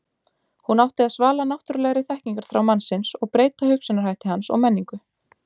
hún átti að svala náttúrulegri þekkingarþrá mannsins og breyta hugsunarhætti hans og menningu